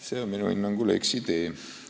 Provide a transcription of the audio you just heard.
See on minu hinnangul eksitee.